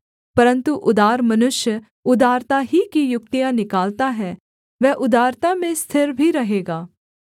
परन्तु उदार मनुष्य उदारता ही की युक्तियाँ निकालता है वह उदारता में स्थिर भी रहेगा